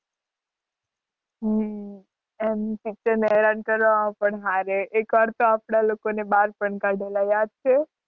હમ એમ teacher ને હેરાન કરવામાં પણ હારે. એક વાર તો આપણાં લોકો ને બહાર પણ કાઢેલા યાદ છે?